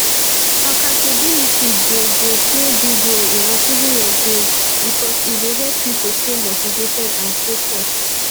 accountability dey dey play big role in achieving your goals because e dey help you to stay motivated and focused